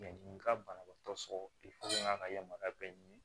nin ka banabaatɔ sɔrɔ ka yamaruya bɛɛ ɲini